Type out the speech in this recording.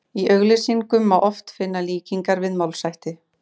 Í auglýsingum má oft finna líkingar við málshætti.